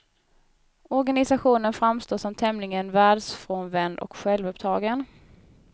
Organisationen framstår som tämligen världsfrånvänd och självuppptagen.